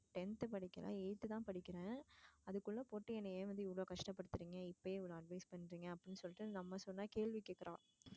tenth படிக்கல eighth தான் படிக்குறேன் அதுக்குள்ள போட்டு என்னைய ஏன்டி இவ்வலோ கஷ்டபடுத்துறீங்க இப்பயே இவ்லோ advice பண்றீங்கனு? அப்டின்னு சொல்லிட்டு நம்ம சொன்னா கேள்வி கேக்குறா.